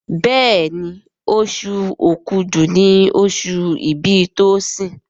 Béèni Oṣù Òkúdu ní oṣù ibì Tosin.